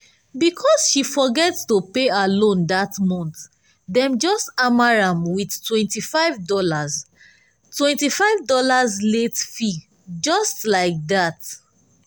because she forget to pay her loan that month dem just hammer am with twenty five dollars twenty five dollars late fee just like that.